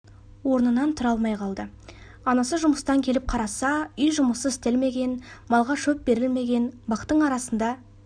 орнынан тұра алмай қалды анасы жұмыстан келіп қараса үй жұмысы істелмеген малға шөп берілмеген бақтың арасында